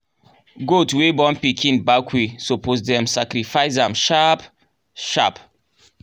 goat wey born pikin back way suppose dem sacrifice am sharp sharp.